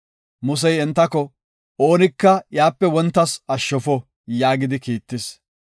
Musey entako, “Oonika iyape wontas ashshofo” yaagidi kiittis.